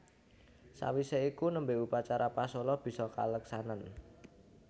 Sawisé iku nembe upacara pasola bisa kaleksanan